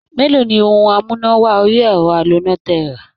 Mélòó ni ohun amúná-wọ-orí-ẹ̀rọ aloná tẹ rà?